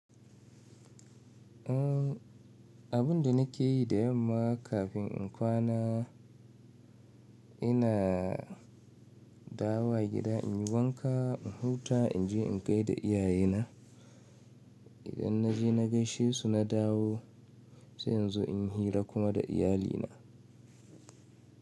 Abun da nake yi da yamma kafin in kwana, ina dawowa gida, in yi wanka, in huta, in je in gaida iyaye na. Idan na je na gaishe su na dawo sai inzo inyi hira kuma da iyalina.